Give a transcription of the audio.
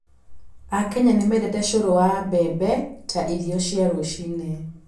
AKenya nĩ mendete cũrũ wa mbembe ta irio cia rũcinĩ.